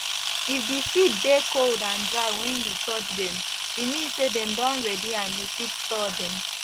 if di seed dey cold and dry wen you touch dem e mean say dem don ready and you fit store dem